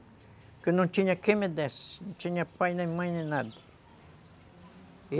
Porque não tinha quem me desse, não tinha pai, nem mãe, nem nada.